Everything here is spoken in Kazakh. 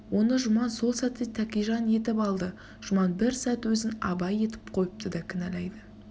оны жұман сол сәтте тәкежан етіп алды жұман бір сәт өзін абай етіп қойып та кінәлайды